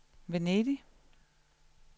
Venedig